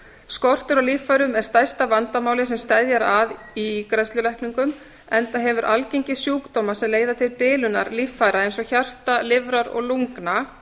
skortur á líffærum er stærsta vandamálið sem steðjar að ígræðslulækningum enda hefur algengi sjúkdóma sem leiða til bilunar líffæra eins og hjarta lifrar lungna